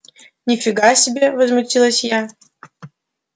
ни фига себе возмутилась я